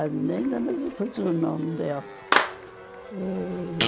A menina, mas depois o nome dela. E...